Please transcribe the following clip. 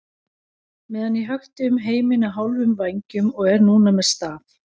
meðan ég hökti um heiminn á hálfum vængjum og er núna með staf.